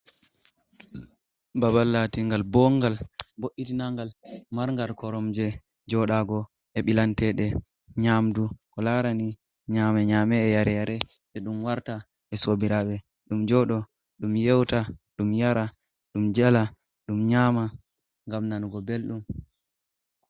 Babal latingal bongal bo’itinangal maragal korom je jodago, e bilantede nyamdu ko larani nyame nyamee yare yare je dum warta e sobirabe dum jodo dum yewta dum yara dum jala dum nyama gam nanugo beldum.